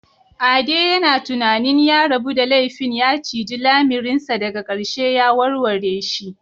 Ade yana tunanin ya rabu da laifin ya ciji lamirinsa daga ƙarshe ya warware shi.